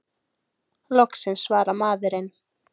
Loksins svarar maðurinn!